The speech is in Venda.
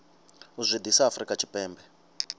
u zwi ḓisa afrika tshipembe